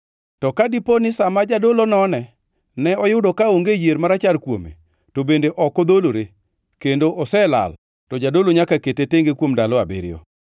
To ka dipo, ni sa ma jadolo nonene oyudo kaonge yier marachar kuome, to bende ok odholore kendo oselal, to jadolo nyaka kete tenge kuom ndalo abiriyo.